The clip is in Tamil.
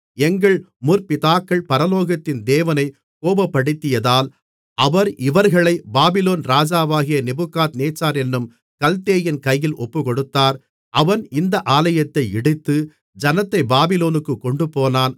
எங்கள் முற்பிதாக்கள் பரலோகத்தின் தேவனைக் கோபப்படுத்தியதால் அவர் இவர்களைப் பாபிலோன் ராஜாவாகிய நேபுகாத்நேச்சார் என்னும் கல்தேயன் கையில் ஒப்புக்கொடுத்தார் அவன் இந்த ஆலயத்தை இடித்து ஜனத்தைப் பாபிலோனுக்குக் கொண்டுபோனான்